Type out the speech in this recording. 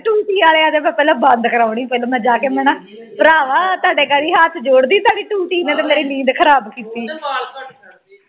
ਟੂਟੀ ਵਾਲੀ ਆ ਤੂੰ ਮੈਂ ਪਹਿਲਾਂ ਬੰਦ ਕਰਾਉਣੀ ਮੈਂ ਜਾ ਕੇ ਮਣਾ ਡਰਾਵਾ ਤੁਹਾਡੇ ਗਾੜੀ ਹਾਥ ਦਾੜ੍ਹੀ ਹੱਥ ਜੋੜਦੀ ਤੁਹਾਡੀ ਟੂਟੀ ਨੇ ਤਾਂ ਸਾਡੀ ਨੀਂਦ ਖਰਾਬ ਕੀਤੀ ਏ